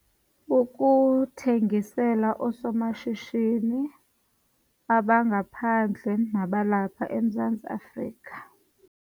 Ukuthengisela oosomashishini abangaphandle nabalapha eMzantsi Afrika.